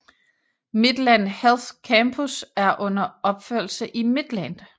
Midland Health Campus er under opførelse i Midland